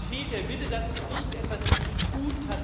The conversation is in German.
Es fehlt der Wille dazu, irgendetwas zu tun.